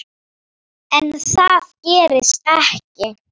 En það gerist ekki.